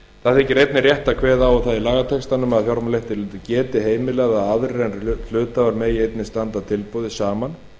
það þykir einnig rétt að kveða á um það í lagatextanum að fjármálaeftirlitið geti heimilað að aðrir en hluthafar megi einnig standa að tilboði saman